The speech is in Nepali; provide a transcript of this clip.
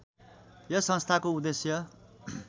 यस संस्थाको उद्देश्य